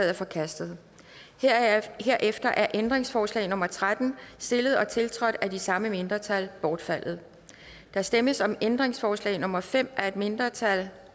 er forkastet herefter er ændringsforslag nummer tretten stillet og tiltrådt af de samme mindretal bortfaldet der stemmes om ændringsforslag nummer fem af et mindretal